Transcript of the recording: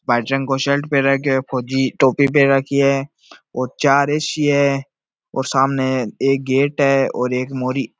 वाइट रंग को शर्ट पहर राख्यो है फौजी टोपी पहर राखी है और चार ए.सी. है और सामने एक गेट है और एक मोरी --